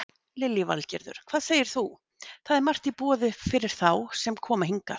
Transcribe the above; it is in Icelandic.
Lillý Valgerður: Hvað segir þú, það er margt í boði fyrir þá sem koma hingað?